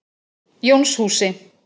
Jónshúsi